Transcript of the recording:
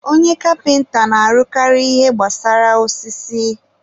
onye kapịnta na-arụkarị ihe gbasara osisi.